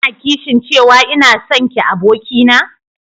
Ka na kishin cewa ina sonki abokina?